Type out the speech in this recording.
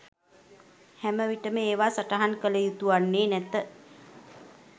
හැම විටම ඒවා සටහන් කල යුතු වන්නේ නැත.